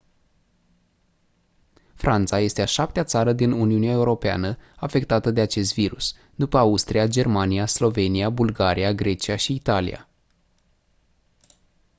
franța este a șaptea țară din uniunea europeană afectată de acest virus după austria germania slovenia bulgaria grecia și italia